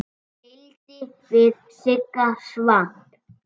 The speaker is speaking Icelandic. Ég tefldi við Sigga Svamp.